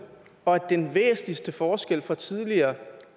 og at den væsentligste forskel fra tidligere